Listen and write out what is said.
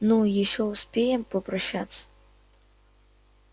ну ещё успеем попрощаться